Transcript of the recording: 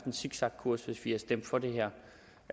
en zigzagkurs hvis vi ville stemme for det her